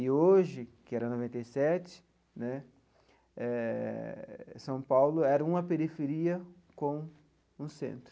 E hoje, que era em noventa e sete né eh, São Paulo era uma periferia com um centro.